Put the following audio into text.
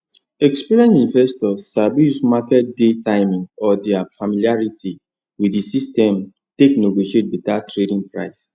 experienced investors sabi use market day timing or their familiarity with the system take negotiate better tradein price